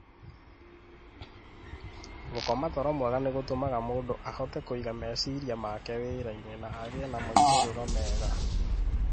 Gũkoma toro mwega nĩ gũtũmaga mũndũ ahote kũiga meciria make wĩra-inĩ na agĩe na moimĩrĩro mega.